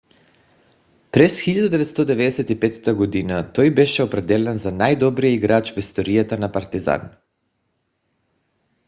през 1995 г. той беше определен за най-добрия играч в историята на партизан